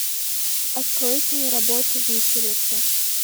открой киноработу виселица